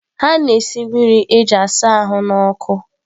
Ha na-esi mmiri na-asa ahụ n’ọkụ.